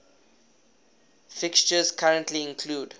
fixtures currently include